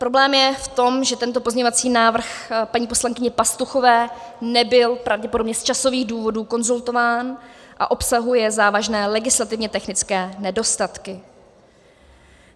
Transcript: Problém je v tom, že tento pozměňovací návrh paní poslankyně Pastuchové nebyl pravděpodobně z časových důvodů konzultován a obsahuje závažné legislativně technické nedostatky.